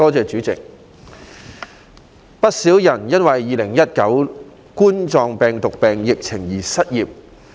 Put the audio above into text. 主席，有不少人因2019冠狀病毒病疫情而失業。